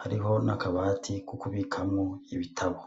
Hariho n'akabati ko kubikamwo ibitabo.